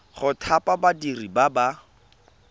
go thapa badiri ba ba